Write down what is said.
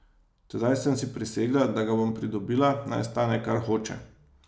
Tedaj sem si prisegla, da ga bom pridobila, naj stane, kar hoče.